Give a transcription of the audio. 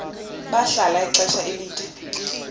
bahlala ixesha elide